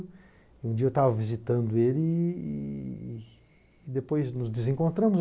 Um dia eu estava visitando ele e depois nos desencontramos.